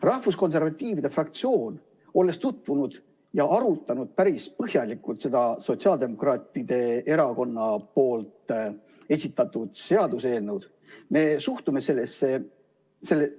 Rahvuskonservatiivide fraktsioon on tutvunud selle Sotsiaaldemokraatliku Erakonna esitatud seaduseelnõuga ja on arutanud seda päris põhjalikult.